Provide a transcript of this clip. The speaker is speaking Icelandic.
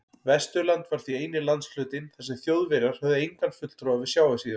Vesturland var því eini landshlutinn, þar sem Þjóðverjar höfðu engan fulltrúa við sjávarsíðuna.